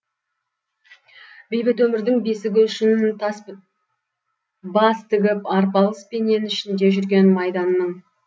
бейбіт өмірдің бесігі үшін бас тігіп арпалыспенен ішінде жүрген майданның